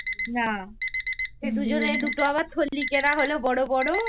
না এ সে দুজনে দুটো আবার থলি কেনা হল বড় বড়।